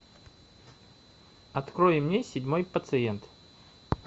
открой мне седьмой пациент